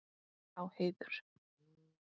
Á heiður.